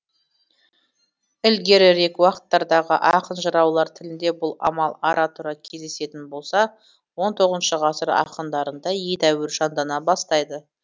ілгерірек уақыттардағы ақын жыраулар тілінде бұл амал ара тұра кездесетін болса он тоғызыншы ғасыр ақындарында едеуір жандана бастайды